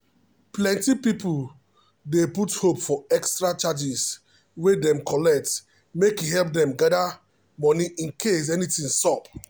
plenty people dey put hope for extra chargers wey dem collect make e help them gather money incase anything sup.